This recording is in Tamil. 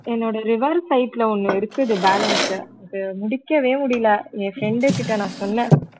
என்னோட river pipe ல ஒண்ணு இருக்குது balance அஹ் முடிக்கவே முடியல என் friend கிட்ட நான் சொன்னேன்